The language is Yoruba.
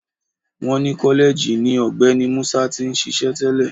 Wọ́n ni kọ́lẹ́ẹ̀jì ni Ọ̀gbẹ́ni Musa ti ń ṣíṣe tẹ́lẹ̀